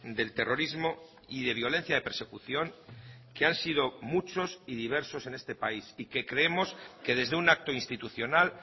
del terrorismo y de violencia de persecución que han sido muchos y diversos en este país y que creemos que desde un acto institucional